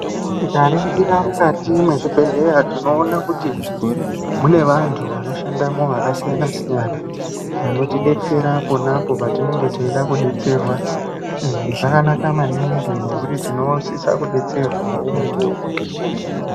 Tikaringira mukati mwezvibhedhleya tinoona kuti mune vantu vanoshamo vakasiyana-siyana, vanotibetserera ponapo patinenge teida kubetsera. Izvi zvakanaka maningi ngekuti tinosisa kubetserwavo mukuvo ngemukuvo.